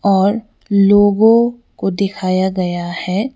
और लोगों को दिखाया गया है।